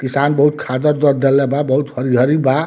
किसान बहुत खाद उद डालले बा बहुत हरियरी बा।